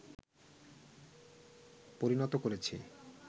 পরিণত করেছি